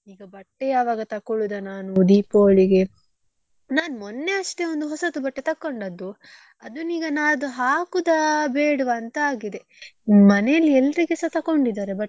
ಈಗ ಬಟ್ಟೆ ಯಾವಾಗ ತಕೊಳ್ಳುದ ನಾನು Deepavali ಗೆ ನಾನ್ ಮೊನ್ನೆ ಅಷ್ಟೇ ಒಂದು ಹೊಸತು ಬಟ್ಟೆ ತಗೊಂಡದ್ದು ಅದನ್ನು ಈಗ ನಾಡ್ದು ಹಾಕುದ ಬೇಡ್ವ ಅಂತ ಆಗಿದೆ ಮನೆಯಲ್ಲಿ ಎಲ್ರಿಗೆಸ ತಕೋಂಡಿದ್ದಾರೆ ಬಟ್ಟೆ.